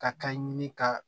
Ka kan ɲini ka